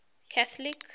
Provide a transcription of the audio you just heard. catholic